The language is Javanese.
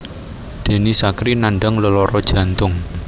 Denny Sakrie nandhang lelara jantung